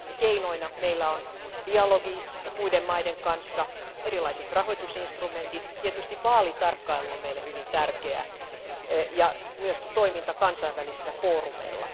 Keinoina meillä on dialogi muiden maiden kanssa, erilaiset rahoitusinstrumentit, tietysti vaalitarkkailu on meille hyvin tärkeä ja myöskin toiminta kansainvälisillä foorumeilla.